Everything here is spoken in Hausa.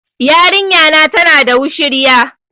Yarinya na tana da wushirya